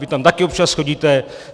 Vy tam také občas chodíte.